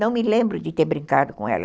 Não me lembro de ter brincado com ela.